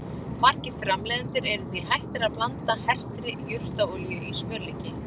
Margir framleiðendur eru því hættir að blanda hertri jurtaolíu í smjörlíki.